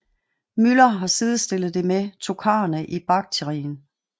Müller har sidestillet det med tokharerne i Baktrien